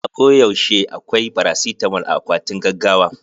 A ko yaushe akwai farasitamol a akwatin gaggawa.